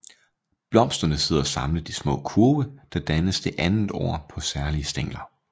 Blomsterne sidder samlet i små kurve der dannes det andet år på særlige stængler